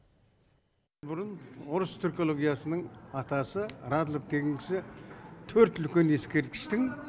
бұрын орыс түркологиясының атасы радлов деген кісі төрт үлкен ескерткіштің